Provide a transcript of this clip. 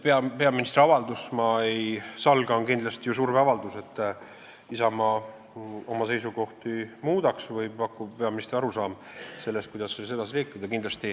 See peaministri avaldus, ma ei salga, on kindlasti ju surveavaldus, et Isamaa oma seisukohti muudaks, see pakub peaministri arusaama sellest, kuidas edasi liikuda.